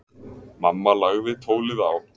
Mamma lagði tólið á.